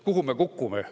Kuhu me kukume?